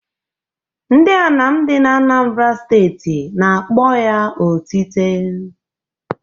Ndị Anam dị n'Anambara steeti n'akpọ ya otite.